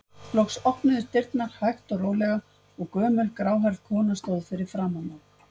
Loks opnuðust dyrnar hægt og rólega og gömul, gráhærð kona stóð fyrir framan þá.